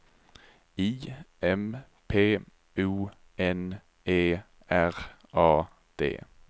I M P O N E R A D